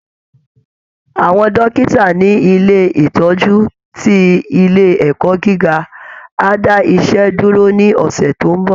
Àwọn dókítà ní ilé ìtọ́jú ti ilé ẹ̀kọ́ gíga á dá iṣẹ́ dúró ní ọ̀sẹ̀ tó ń bọ̀